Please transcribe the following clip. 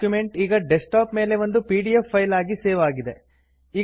document ಈಗ desktop ಮೇಲೆ ಒಂದು ಪಿಡಿಎಫ್ ಫೈಲ್ ಆಗಿ ಸೇವ್ ಆಗಿದೆ